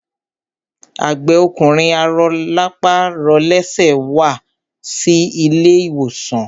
A gbẹ́ ọkùnrin arọlápàrọlẹ́sẹ̀ wá sí ilé ìwòsàn.